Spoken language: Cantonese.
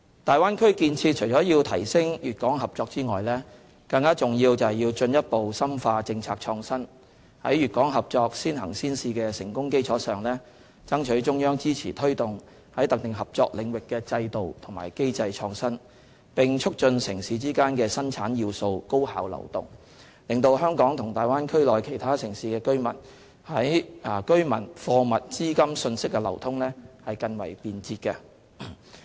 大灣區建設除了要提升粵港合作外，更重要的是要進一步深化政策創新，在粵港合作"先行先試"的成功基礎上，爭取中央支持推動在特定合作領域的制度和機制創新，並促進城市之間的生產要素高效流通，使香港與大灣區內其他城市的居民、貨物、資金、訊息的流通更為便捷。